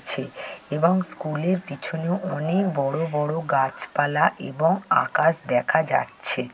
ছে এবং স্কুলের পিছনে অনেক বড়ো বড়ো গাছপালা এবং আকাশ দেখা যাচ্ছে।